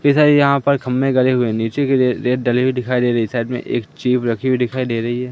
इतने सारी यहां पे खंभे गड़े हुए है नीचे की रे रेत डली हुई दिखाई दे रही है साइड में एक चिज रखी हुई दिखाई दे रही है।